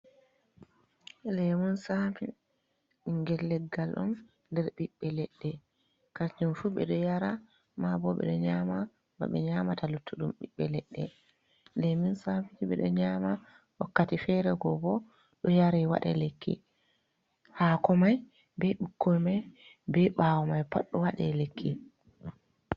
Lemun sami bingel leggal on nder ɓiɓɓe leɗɗe kanjum fu ɓeɗo yara ma bo ɓeɗo nyama ba ɓe nyamata luttuɗum ɓiɓɓe leɗɗe lemun sami ɓeɗo nyama wakkati fere go bo ɗo yara waɗa lekki, hako mai be ɓukkoi mai be bawo mai pat ɗo waɗa lekki.